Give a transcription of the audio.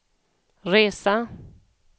resa